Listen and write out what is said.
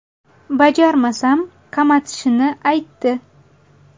Bajarmasam, qamatishini aytdi.